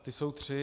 Ty jsou tři.